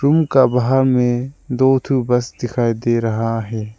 उनका बाहर में दो ठो थी बस दिखाई दे रहा है।